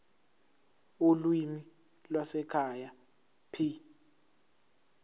ulimi lwasekhaya p